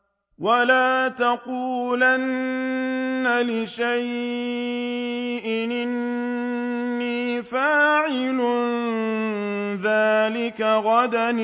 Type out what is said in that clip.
وَلَا تَقُولَنَّ لِشَيْءٍ إِنِّي فَاعِلٌ ذَٰلِكَ غَدًا